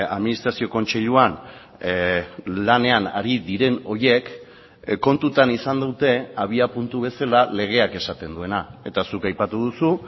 administrazio kontseiluan lanean ari diren horiek kontutan izan dute abiapuntu bezala legeak esaten duena eta zuk aipatu duzu